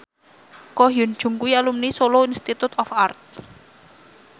Ko Hyun Jung kuwi alumni Solo Institute of Art